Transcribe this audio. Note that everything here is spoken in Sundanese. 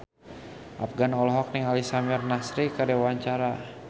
Afgan olohok ningali Samir Nasri keur diwawancara